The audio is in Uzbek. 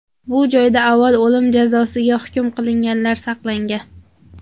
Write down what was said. Bu joyda avval o‘lim jazosiga hukm qilinganlar saqlangan.